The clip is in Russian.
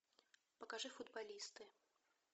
покажи футболисты